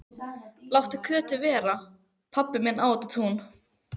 Láttu Kötu vera, pabbi minn á þetta tún!